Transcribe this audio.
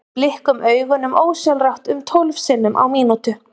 við blikkum augunum ósjálfrátt um tólf sinnum á mínútu